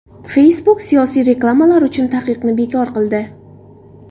Facebook siyosiy reklamalar uchun taqiqni bekor qildi.